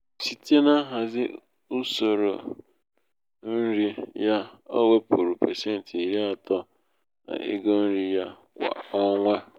site n'ihazi usoro nri usoro nri ya o wepụrụ pasenti iri atọ n'ego nri ya kwa ọnwa